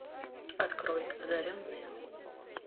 открой одаренные